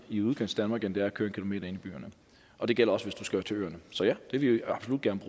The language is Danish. i udkantsdanmark end det er at køre en km inde i byerne og det gælder også hvis du skal til øerne så ja det vil vi absolut gerne